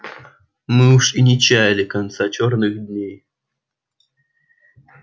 мы уж и не чаяли конца черных дней